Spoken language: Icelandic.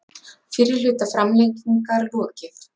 Fyrri hluta framlengingar lokið